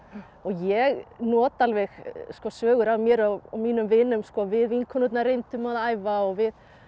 og ég nota alveg sko sögur af mér og mínum vinum við vinkonurnar reyndum að æfa og við